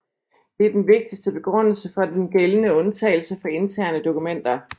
Det er den vigtigste begrundelse for den gældende undtagelse for interne dokumenter